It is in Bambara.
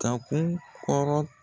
Ka kun kɔrɔ.